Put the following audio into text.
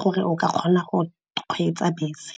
gore o ka kgona go kgweetsa bese.